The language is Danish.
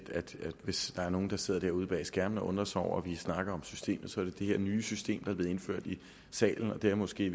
at hvis der er nogen der sidder derude bag skærmene og undrer sig over at vi snakker om systemet så er det det her nye system er blevet indført i salen det er måske i